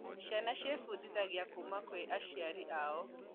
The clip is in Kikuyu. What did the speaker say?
Ciana cifundithagĩa kuma kwĩ aciari ao